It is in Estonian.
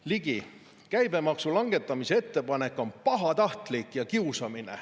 " Ligi: " käibemaksu langetamise ettepanek on pahatahtlik ja kiusamine.